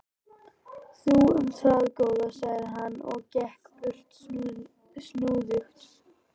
Þú um það, góða, sagði hann og gekk burt snúðugt.